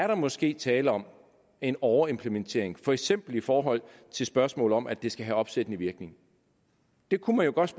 der måske er tale om en overimplementering for eksempel i forhold til spørgsmålet om at det skal have opsættende virkning det kunne man jo godt